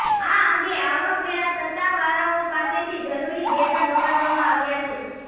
આ અંગે આવકવેરા સત્તાવાળાઓ પાસેથી જરૂરી ડેટા મગાવવામાં આવ્યા છે